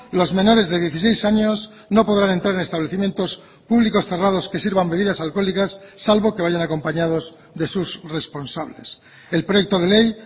los menores de dieciséis años no podrán entrar en establecimientos públicos cerrados que sirvan bebidas alcohólicas salvo que vayan acompañados de sus responsables el proyecto de ley